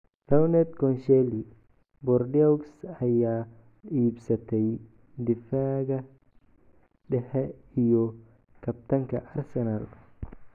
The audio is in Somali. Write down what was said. Laurent Koscielny: Bordeaux ayaa iibsatay difaaga dhexe iyo kabtanka Arsenal.